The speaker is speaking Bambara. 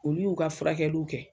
Olu y'u ka furakɛliw kɛ